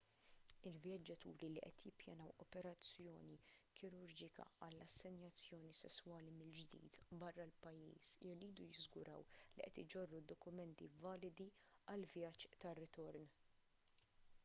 il-vjaġġaturi li qed jippjanaw operazzjoni kirurġika għal assenjazzjoni sesswali mill-ġdid barra l-pajjiż iridu jiżguraw li qed iġorru d-dokumenti validi għall-vjaġġ tar-ritorn